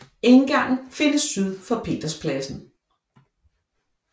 Indgangen er findes syd for Peterspladsen